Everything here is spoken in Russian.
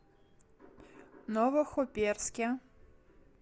новохоперске